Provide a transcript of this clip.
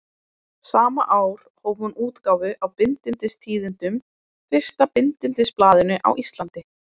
Sama ár hóf hún útgáfu á Bindindistíðindum, fyrsta bindindisblaðinu á Íslandi.